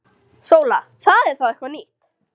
SÓLA: Það er þá eitthvað nýtt!